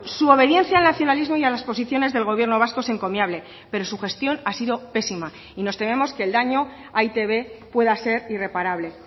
su obediencia al nacionalismo y a las posiciones del gobierno vasco es encomiable pero su gestión ha sido pésima y nos tememos que el daño a e i te be pueda ser irreparable